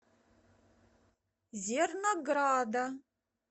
зернограда